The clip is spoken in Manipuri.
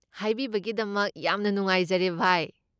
ꯍꯥꯏꯕꯤꯕꯒꯤꯗꯃꯛ ꯌꯥꯝꯅ ꯅꯨꯡꯉꯥꯏꯖꯔꯦ, ꯚꯥꯏ꯫